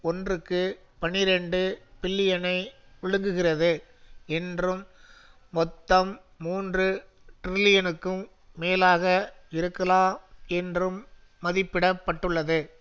ஒன்றுக்கு பனிரண்டு பில்லியனை விழுங்குகிறது என்றும் மொத்தம் மூன்று டிரில்லியனுக்கும் மேலாக இருக்கலாம் என்றும் மதிப்பிடப் பட்டுள்ளது